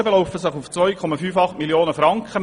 Die Gesamtkosten belaufen sich auf 2,58 Mio. Franken.